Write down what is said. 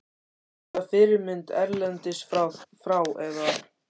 Er þetta fyrirmynd erlendis frá eða?